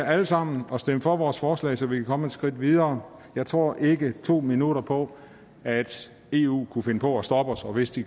alle sammen at stemme for vores forslag så vi kan komme et skridt videre jeg tror ikke to minutter på at eu kunne finde på at stoppe os og hvis de